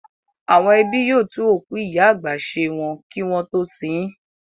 Àwọn ẹbí yóò tún òkú ìyá àgbà ṣe wọn kí wọ́n tó sin ín.